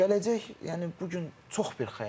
Gələcək, yəni bu gün çox bir xəyal.